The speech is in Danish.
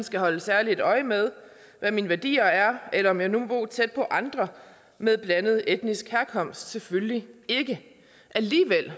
skal holde særlig øje med hvad mine værdier er eller om jeg må bo tæt på andre med blandet etnisk herkomst selvfølgelig ikke alligevel